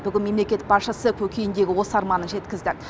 бүгін мемлекет басшысы көкейіндегі осы арманын жеткізді